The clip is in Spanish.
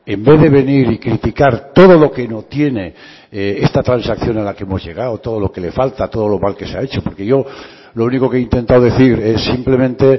en vez de venir y criticar todo lo que no tiene esta transacción a la que hemos llegado todo lo que le falta todo lo mal que se ha hecho porque yo lo único que he intentado decir es simplemente